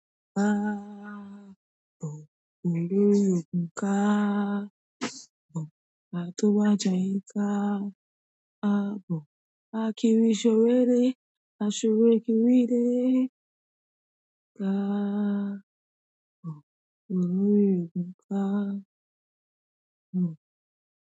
Káàbọ̀ o, olórí ògun káàbọ̀, Atowájayẹ káàbọ̀, akiri ṣọ̀rẹ́ de, aṣọre kiri dè. Ka o, olórí òkun ka o.